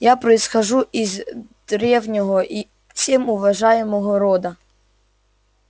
я происхожу из древнего и всем уважаемого рода